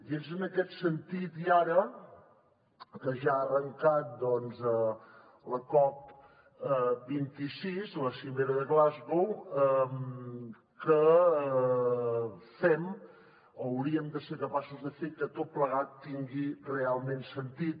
i és en aquest sentit i ara que ja ha arrencat doncs la cop26 la cimera de glasgow que fem o hauríem de ser capaços de fer que tot plegat tingui realment sentit